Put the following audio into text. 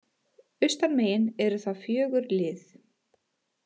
Austanmegin eru það fjögur lið